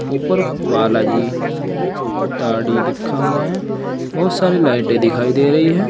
ऊपर बालाजी दाढ़ी लिखा हुआ है बहुत सारी लाइटें दिखाई दे रही है।